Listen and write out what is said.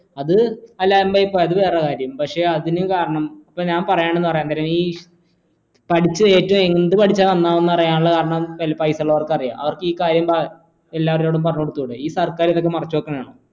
അതെ അലമ്പായി പോയി അത് വേറെ കാര്യം പക്ഷേ അതിനു കാരണം ഇപ്പോ ഞാൻ പറയണത് പറയുന്നരം ഈ പഠിച്ചു ഏറ്റവും എന്താ പഠിച്ചാല നന്നാവാ എന്ന് അറിയാനുള്ള കാരണം പൈസയുള്ളവർക്ക് അറിയാം അവർക്കീ കാര്യം എല്ലാവരോടും പറഞ്ഞ് കൊടുത്തൂടെ ഈ സർക്കാർ ഇതൊക്കെ മറച്ചു വെക്കണതാണോ